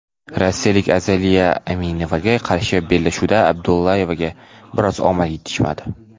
rossiyalik Azaliya Aminevaga qarshi bellashuvda Abdullayevaga biroz omad yetishmadi.